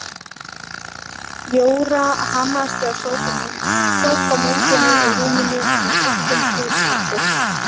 Jóra hamaðist við að sópa moldinni úr rúminu með litlum hrísvendi.